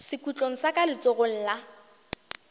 sekhutlong sa ka letsogong la